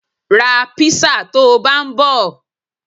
Ra písà tó bá ń bọ.